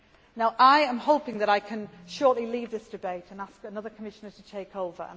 to do. Now I am hoping that I can shortly leave this debate and ask another Commissioner to take